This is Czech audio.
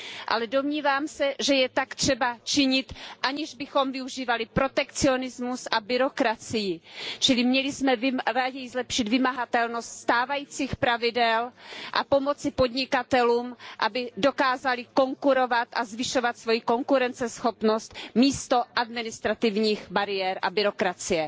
Ale domnívám se, že je tak třeba činit, aniž bychom využívali protekcionismus a byrokracii, čili měli jsme raději zlepšit vymahatelnost stávajících pravidel a pomoci podnikatelům, aby dokázali konkurovat a zvyšovat svoji konkurenceschopnost, místo administrativních bariér a byrokracie.